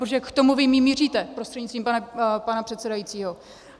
Protože k tomu vy míříte prostřednictvím pana předsedajícího.